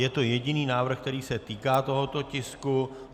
Je to jediný návrh, který se týká tohoto tisku.